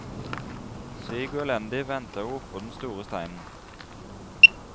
Syk og elendig ventet hun oppå den store steinen.